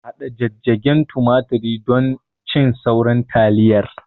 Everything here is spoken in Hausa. Haɗa jijjigen tumaturi don cin sauran taliyar